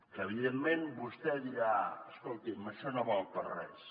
que evidentment vostè dirà escolti’m això no val per a res